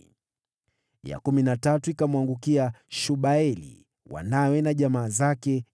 ya kumi na tatu ikamwangukia Shubaeli, wanawe na jamaa zake, 12